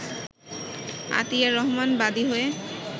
আতিয়ার রহমান বাদী হয়ে